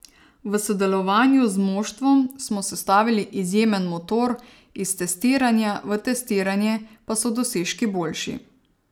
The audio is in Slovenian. V sodelovanju z moštvom smo sestavili izjemen motor, iz testiranja v testiranje pa so dosežki boljši.